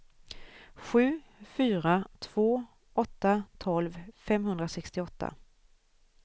sju fyra två åtta tolv femhundrasextioåtta